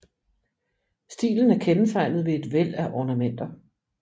Stilen er kendetegnet ved et væld af ornamenter